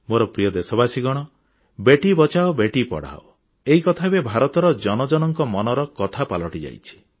ମୋର ପ୍ରିୟ ଦେଶବାସୀ ବେଟି ବଚାଓ ବେଟି ପଢ଼ାଓ ଏହି କଥା ଏବେ ଭାରତର ଜନଗଣଙ୍କ ମନର କଥା ପାଲଟିଯାଇଛି